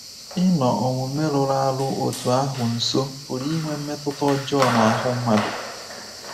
Ịnọ omume rụrụ arụ otú ahụ nso pụrụ inwe mmetụta ọjọọ n’ahụ́ mmadụ.